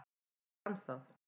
Ég fann það.